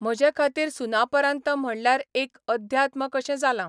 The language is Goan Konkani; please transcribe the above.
म्हजे खातीर सुनापरान्त म्हणल्यार एक अध्यात्म कशें जालां.